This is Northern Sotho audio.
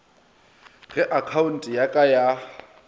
ga akhaonte ya ka ya